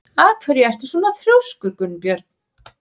Af hverju ertu svona þrjóskur, Gunnbjörn?